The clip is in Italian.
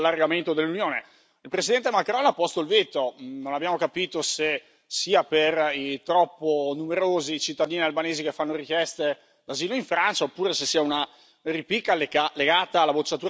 Il presidente Macron ha posto il veto, non abbiamo capito se sia per i troppo numerosi cittadini albanesi che fanno richiesta d'asilo in Francia, oppure se sia una ripicca legata alla bocciatura della signora Goulard.